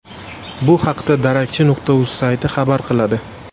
Bu haqda Darakchi.uz sayti xabar qiladi .